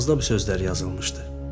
Kağızda bu sözlər yazılmışdı: